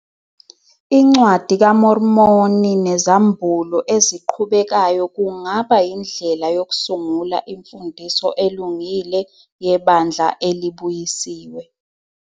INcwadi kaMormoni nezambulo eziqhubekayo kungaba yindlela yokusungula imfundiso elungile yebandla elibuyisiwe.